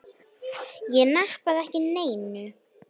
Ég nappaði ekki neinu.